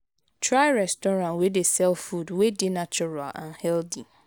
try restaurant wey dey sell food wey dey natural and healthy